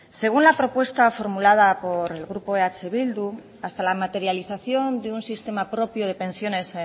según la propuesta formulada por el grupo eh bildu hasta la materialización de un sistema propio de pensiones